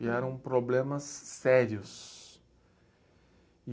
E eram problemas sérios.